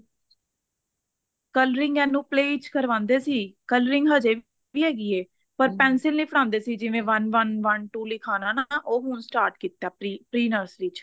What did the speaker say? coloring ਇਹਨੂੰ play ਚ ਕਰਵਾਂਦੇ ਸੀ coloring ਹਜੇ ਵੀ ਹੈਗੀ ਐ ਪਰ pencil ਨੀ ਫੜਾਨਦੇ ਸੀ ਜਿਵੇਂ one one one two ਲਿਖਵਾਨਾ ਨਾ ਉਹ ਹੁਣ start ਕੀਤਾ pre nursery ਚ